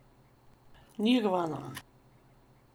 Nirvana!